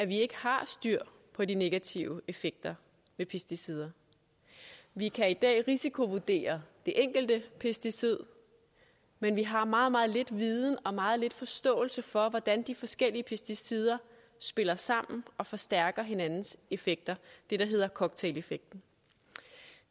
vi ikke har styr på de negative effekter ved pesticider vi kan i dag risikovurdere det enkelte pesticid men vi har meget meget lidt viden og meget lidt forståelse for hvordan de forskellige pesticider spiller sammen og forstærker hinandens effekter det der hedder cocktaileffekten